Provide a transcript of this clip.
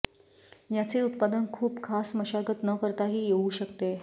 याचे उत्पादन खूप खास मशागत न करताही येऊ शकते